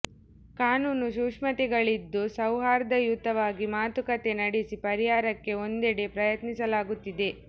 ಕಾನೂನು ಸೂಕ್ಷ್ಮತೆಗಳಿದ್ದು ಸೌಹಾ ರ್ದಯುತವಾಗಿ ಮಾತುಕತೆ ನಡೆಸಿ ಪರಿಹಾರಕ್ಕೆ ಒಂದೆಡೆ ಪ್ರಯತ್ನಿಸಲಾಗುತ್ತಿದೆ